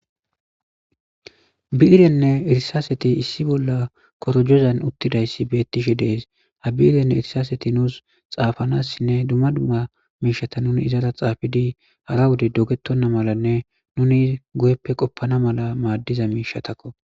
bi7irenne irsaaseti issi bolla korojozan uttidayssi beettishe de'es habiirenne irsaaseti nuus xaafanassinne dumma dumma miishata nuni izara xaafidi hara wode dogettonna malanne nuni guyeppe qoppana mala maaddiza miishatakko